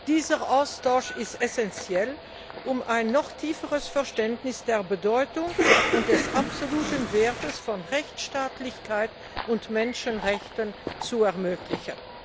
Dieser Austausch ist essenziell, um ein noch tieferes Verständnis der Bedeutung und des absoluten Wertes von Rechtstaatlichkeit und Menschenrechten zu ermöglichen.